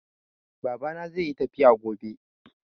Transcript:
Babana zai yi tafiya gobe.